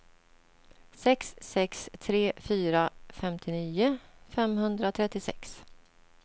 sex sex tre fyra femtionio femhundratrettiosex